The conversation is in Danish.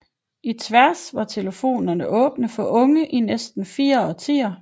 I Tværs var telefonerne åbne for unge i næsten fire årtier